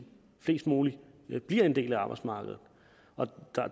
flest mulige bliver en del af arbejdsmarkedet